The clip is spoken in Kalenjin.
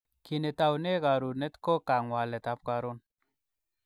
Ki netoune karonet ko kang'walet ab karon.